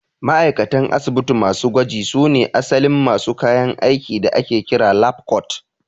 Ma'aikatan asibiti masu gwaji su ne asalin masu kayan aikin da ake kira 'lab coat'